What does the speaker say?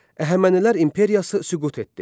Əhəmənilər imperiyası süqut etdi.